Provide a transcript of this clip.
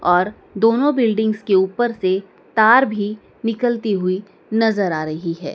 और दोनों बिल्डिंग्स के ऊपर से तार भी निकलती हुई नजर आ रही हैं।